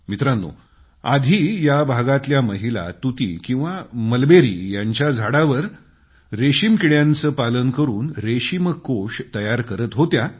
मित्रांनो आधी या भागातल्या महिला तूती किंवा मलबेरी यांच्या झाडांवर रेशम कीड्यांचे पालन करून कोकून तयार करीत होत्या